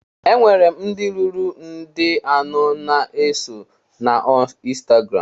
Enwere m ndị ruru nde anọ na-eso na ọ ịnstagram